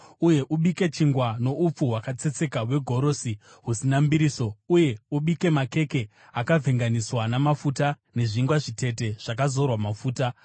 Uye ubike chingwa noupfu hwakatsetseka hwegorosi, husina mbiriso, uye ubike makeke akavhenganiswa namafuta, nezvingwa zvitete zvakazorwa mafuta.